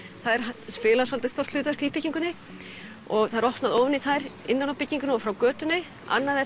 þær spila svolítið stórt hlutverk í byggingunni það er opnað ofan í þær innan úr byggingunni og frá götunni annað er